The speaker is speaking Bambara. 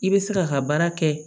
I bɛ se k'a ka baara kɛ